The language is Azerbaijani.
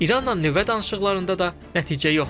İranla nüvə danışıqlarında da nəticə yoxdur.